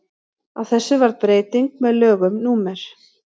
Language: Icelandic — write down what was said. á þessu varð breyting með lögum númer